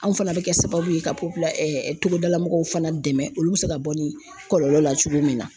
Anw fana bɛ kɛ sababu ye ka togodala mɔgɔw fana dɛmɛ olu bɛ se ka bɔ ni kɔlɔlɔ la cogo min na.